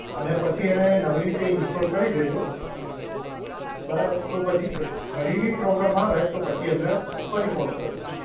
અને પછી એને નવી રીતે ઇન્સ્ટોલ કરી દેજો. બરાબર, તો પછી ફરી બી પ્રોબ્લેમ આવે તો પછી અમને ફરી ફોન કરજો.